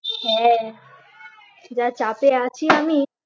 হ্যাঁ যা চাপে আছি আমি